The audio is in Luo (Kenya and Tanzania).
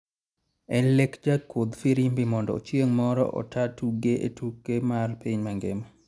En lek jakudh firimbi mondo chieng moro ota tugo e tuke mar piny mangima